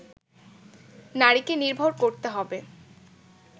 নারীকে নির্ভর করতে হবে